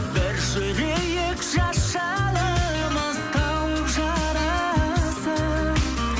бір жүрейік жас жанымыз тауып жарасып